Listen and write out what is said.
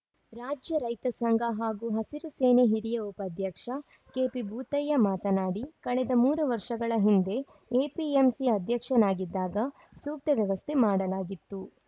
ರಾಜ್ಯ ರೈತ ಸಂಘ ಹಾಗೂ ಹಸಿರು ಸೇನೆ ಹಿರಿಯ ಉಪಾಧ್ಯಕ್ಷ ಕೆಪಿಭೂತಯ್ಯ ಮಾತನಾಡಿ ಕಳೆದ ಮೂರು ವರ್ಷಗಳ ಹಿಂದೆ ಎಪಿಎಂಸಿ ಅಧ್ಯಕ್ಷನಾಗಿದ್ದಾಗ ಸೂಕ್ತ ವ್ಯವಸ್ಥೆ ಮಾಡಲಾಗಿತ್ತು